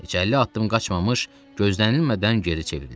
Heç əlli addım qaçmamış gözlənilmədən geri çevrildi.